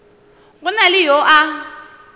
go na le yo a